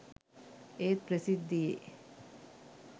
ඒත් ප්‍රසිද්ධියේ